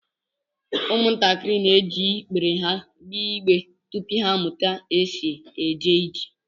Umuntakịrị na-eji ịkpèrè ha gbéé ịgbé tupu ha amụta ka e sị éjé ijè